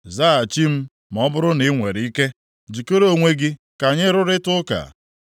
Zaghachi m ma ọ bụrụ na i nwere ike; jikere onwe gị ka anyị rụrịtaa ụka.